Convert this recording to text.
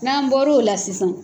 N'an bɔr'o la sisan